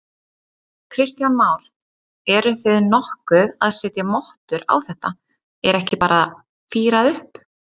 Kristján Már: Eruð þið nokkuð að setja mottur á þetta, er ekki bara fírað upp?